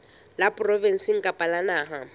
la provinse kapa la naha